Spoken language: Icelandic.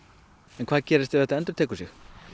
en hvað gerist ef þetta endurtekur sig